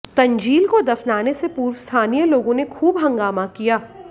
तंजील को दफनाने से पूर्व स्थानीय लोगों ने खूब हंगामा किया